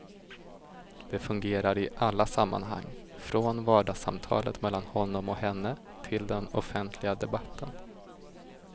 Det fungerar i alla sammanhang, från vardagssamtalet mellan honom och henne till den offentliga debatten.